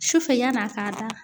Sufɛ yann'a ka da